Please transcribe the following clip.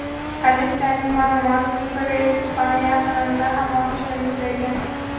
Politsiyaning ma’lumotlariga ko‘ra, elchixona yaqinida ham otishma yuz bergan.